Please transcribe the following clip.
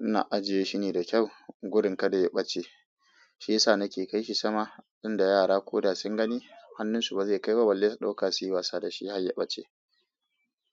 Ina ajiye shine da kyau gudin kada ya ɓace. Shi yasa na ke kai shi sama inda yara ko da sun gani hannunsu ba zai kai ba, balle su dauka si wasa dashi har ya ɓace.